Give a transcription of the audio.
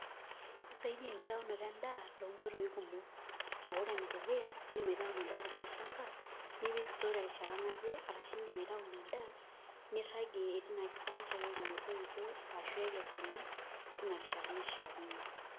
Kisaidia enkitaunoto endaa tonkoitoi kumok a ore enedukuya indim aitau ina daa tilo shamba nipik store terishata naje ashu inadaa niragie metoito ashu ekesuni tinarishata naishaakino.